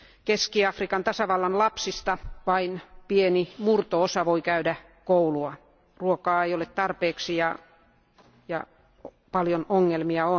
Keski Afrikan tasavallan lapsista vain pieni murto osa voi käydä koulua, ruokaa ei ole tarpeeksi ja on paljon ongelmia.